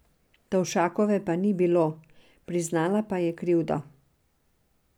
Tovšakove pa ni bilo, priznala pa je krivdo.